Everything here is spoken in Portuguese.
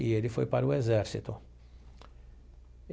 E ele foi para o exército.